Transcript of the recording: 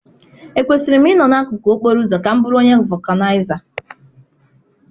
Ekwesịrị m ịnọ n'akụkụ okporo ụzọ ka m bụrụ onye vọkụnaiza?